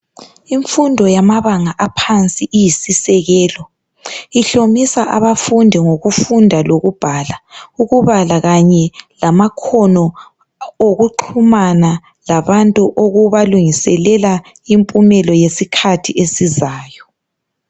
Imfundo yamabanga aphandi iyisisekelo ihlomisa abafundi ngokufunda lokubhala ukubala kanye lama khono wokuxhumana labantu ukubalungisela impumelo yesikhathi esizayo